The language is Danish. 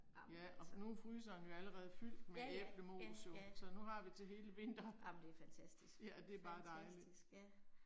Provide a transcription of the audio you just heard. Amen altså. Ja ja, ja, ja, jamen det er fantastisk, fantastisk, ja